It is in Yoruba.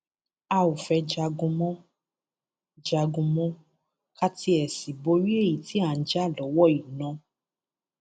a ò fẹẹ jagun mọ jagun mọ ká tiẹ sì borí èyí tí à ń jà lọwọ yìí náà